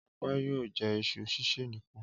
Ọpẹ́ yóò jẹ iṣu sísè nìkan.